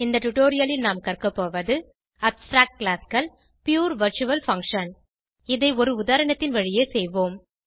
இந்த டுடோரியலில் நாம் கற்கபோவது Abstract Classகள் Pure வர்ச்சுவல் பங்ஷன் இதை ஒரு உதாரணத்தின் வழியே செய்வோம்